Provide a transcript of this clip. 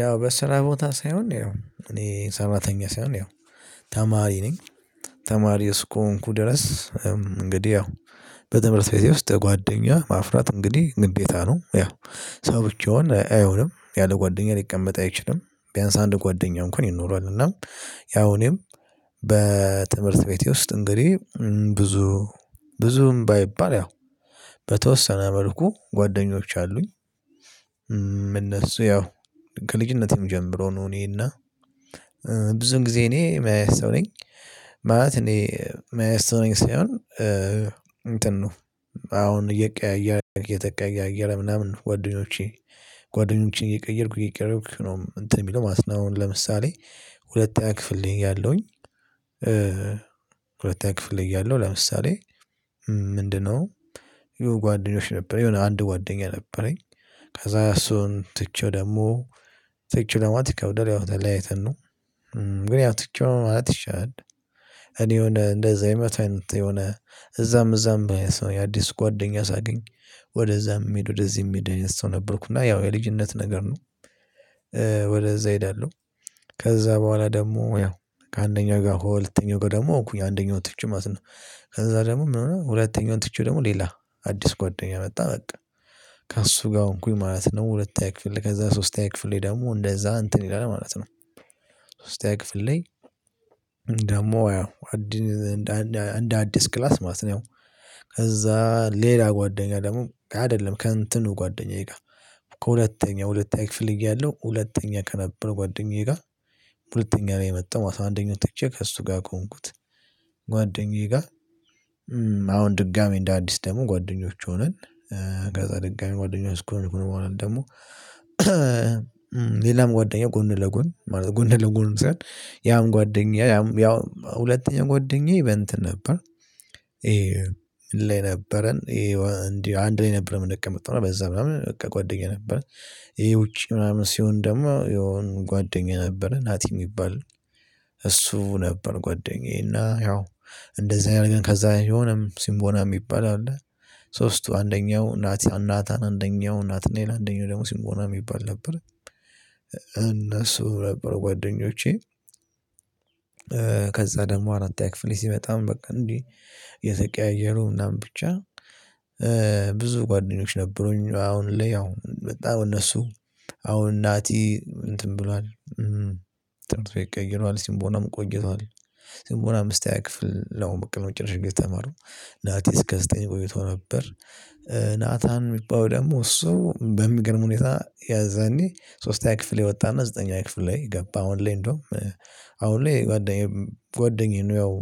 ያው በስራ ቦታ ሳይሆን ያው እኔ ሰራተኛ ሳይሆን ያው ተማሪ ነኝ። ተማሪው እስከሆንኩ ድረስ። እንግዲህ ያው በትምህርት ቤቴ ውስጥ ጓደኛ ማፍራት እንግዲህ ግዴታ ነው። ያው ሰው ብቻውን አይሆንም ያለ ጓደኛ ሊቀመጥ አይችልም። ቢያንስ አንድ ጓደኛ እንኳን ይኖረዋል። እና ያው እኔም በትምህርት ቤቴ ውስጥ እንግዲህ ብዙ ብዙም ባይባል ያው በተወሰነ መልኩ ጓደኞች አሉኝ። እነሱ ያው ከልጅነቴም ጀምሮ ነው እኔና ብዙን ጊዜ እኔ ምን አይነት ሰው ነኝ። ማለት እኔ ምን አይነት ሰው ነኝ ሳይሆን። እንትን ነው አሁን እየቀያየረ እየተቀያየረ ምናምን ጓደኞቼ ጓደኞቼን እየቀየርኩ እየቀየርኩ ነው። እንትን የሚለው ማለት ለምሳሌ ሁለተኛ ክፍል እያለሁኝ። ሁለተኛ ክፍል እያለሁ ለምሳሌ ምንድነው? የሆነ ጓደኞች ነበረ የሆነ አንድ ጓደኛ ነበረኝ። ከዛ እሱን ትቼው ደግሞ ትቼው ለማለት ይከብዳል ያው ተለያይተን ነው። ግን ያው ትቼው ማለት ይሻላል። እኔ የሆነ እንደዛ አይነት የሆነ እዛም እዛም የአዲስ ጓደኛ ሳገኝ ወደዛ የምሄድ ወደዚህ የምሄድ ሰው ነበርኩ እና ያው የልጅነት ነገር ነው። ወደዛ እሄዳለሁ። ከዛ በኋላ ደግሞ ያው ከአንደኛው ጋር ሁለተኛው ጋር ደግሞ ሆንኩኝ አንደኛው ትቼ ማለት ነው። ከዛ ደግሞ ምን ሆነ ሁለተኛውን ትቼ ደግሞ ሌላ አዲስ ጓደኛ መጣ በቃ ከእሱ ጋር ሆንኩኝ ማለት ነው። ሁለተኛ ክፍል ከዛ ሶስተኛ ክፍሌ ደግሞ እንደዛ እንትን ይላል ማለት ነው። ሶስተኛ ክፍል ላይ ደግሞ ያው አዲን እንደ አዲስ ክላስ ማለት ነው። ከዛ ሌላ ጓደኛ ደግሞ አይደለም ከእንትኑ ጓደኛዬ ጋር። ከሁለተኛው ሁለተኛ ክፍል እያለሁ ሁለተኛ ከነበረ ጓደኛዬ ጋር ሁለተኛ ነው የመጣው አስራ አንደኛው ትቼ ከእሱ ጋር ቆምኩት። ጓደኛዬ ጋር አሁን ድጋሚ እንደ አዲስ ደግሞ ጓደኞች ሆነን በድጋሚ ጓደኞች ሆነን ደግሞ። ሌላም ጓደኛ ጎን ለጎን ማለት ነው ጎን ለጎን ምሳሌ ያም ጓደኛ ያም ያው ሁለተኛ ጓደኛ ኢቨንት ነበር። ምን ላይ ነበረ እንዲህ አንድ ላይ ነበር ምንቀመጥ ነው በዛ ምናምን በቃ ጓደኛ ነበር። የውጪ ምናምን ሲሆን ደግሞ የሆነ ጓደኛ ነበረ ናቲ የሚባል። እሱ ነበር ጓደኛዬና ያው እንደዚህ አይነት ግን ከዛ የሆነም ሲምቦና የሚባል አለ። ሶስቱ አንደኛው ናቲያን አንደኛው ናትናኤል አንደኛው ደግሞ ሲምቦና የሚባል ነበር። እነሱ ነበሩ ጓደኞቼ። ከዛ ደግሞ አራተኛ ክፍል ሲመጣም በቃ እንዲህ እየተቀያየሩ ምናምን ብቻ። ብዙ ጓደኞች ነበሩኝ አሁን ላይ ያው በጣም እነሱ አሁን ናቲ እንትን ብሏል ጥሩ ቤት ቀይሯል ሲምቦናም ቆይቷል። ሲምቦናም አምስተኛ ክፍል ለሆነ በቃ ነው ጭራሽ ጊዜ ተማሩ ናቲ እስከ ዘጠኝ ቆይቶ ነበር። ናታን የሚባለው ደግሞ እሱ በሚገርም ሁኔታ የዘኔ ሶስተኛ ክፍል የወጣና ዘጠነኛ ክፍል ላይ ገባ አሁን ላይ እንደውም አሁን ላይ ጓደኛዬ ጓደኛዬ ነው። ያው